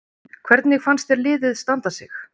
Hvernig fannst þér liðið standa sig?